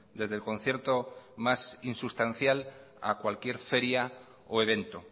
desde el concierto más insustancial a cualquier feria o evento